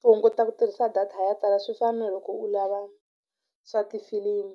Ku hunguta ku tirhisa data ya tala swi fana na loko u lava swa tifilimu